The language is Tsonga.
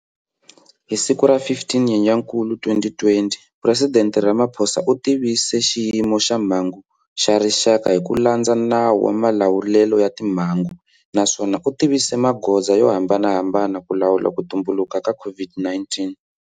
Hi siku ra 15 Nyenyankulu 2020, Presidente Ramaphosa u tivise Xiyimo xa Mhangu xa Rixaka hi ku landza Nawu wa Malawulelo ya Timhangu naswona u tivise magoza yo hambanahambana ku lawula ku tumbuluka ka COVID-19.